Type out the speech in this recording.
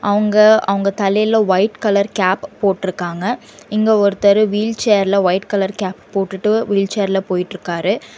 அவுங்க அவங்க தலையில ஒயிட் கலர் கேப் போட்ருக்காங்க இங்க ஒருத்தரு வீல்சேர்ல ஒயிட் கலர் கேப் போட்டுட்டு வீழ்ச்சேர்ல போயிட்ருக்காரு.